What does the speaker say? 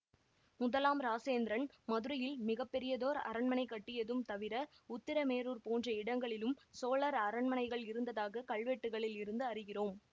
முதலாம் இராசேந்திரன் மதுரையில் மிக பெரியதோர் அரண்மனை கட்டியதும் தவிர உத்திரமேரூர் போன்ற இடங்களிலும் சோழர் அரண்மனைகள் இருந்ததாக கல்வெட்டுக்களில் இருந்து அறிகிறோம்